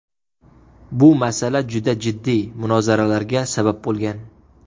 Bu masala juda jiddiy munozaralarga sabab bo‘lgan.